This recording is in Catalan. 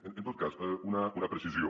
en tot cas una precisió